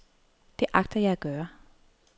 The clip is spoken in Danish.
Det agter jeg at gøre.